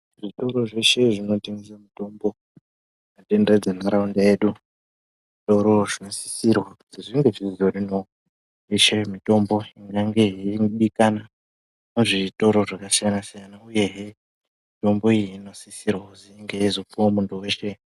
Zvitoro zveshe zvinotengese mutombo tenderedze ntaraunda yedu toro zvinosisirwa kuzi zvinge zvizorimwo yeshe mutombo inenge yeidikana muzvitoro zvakasiyana siyana uyehe mutombo iyi inosisirwa kuzi inge yeizopuwa muntu weshe.